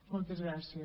moltes gràcies